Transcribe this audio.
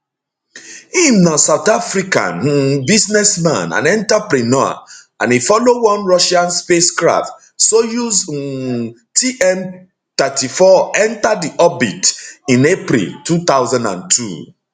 im na south african um businessman and entrepreneur and e follow one russian spacecraft soyuz um tm34 enta di orbit in april 2002